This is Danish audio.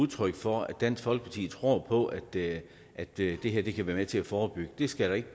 udtryk for at dansk folkeparti tror på at det at det her kan være med til at forebygge det skal der ikke